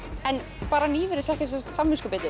en bara nýverið fékk ég samviskubit